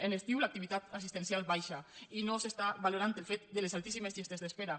en l’estiu l’activitat assistencial baixa i no s’està valorant el fet de les altíssimes llistes d’espera